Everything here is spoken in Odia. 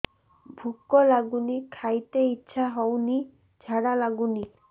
ଭୁକ ଲାଗୁନି ଖାଇତେ ଇଛା ହଉନି ଝାଡ଼ା ଲାଗୁନି